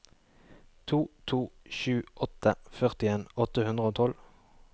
to to sju åtte førtien åtte hundre og tolv